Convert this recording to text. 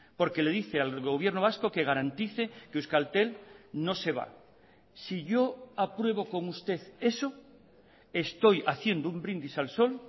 porque le dice al gobierno vasco que garantice que euskaltel no se va si yo apruebo con usted eso estoy haciendo un brindis al sol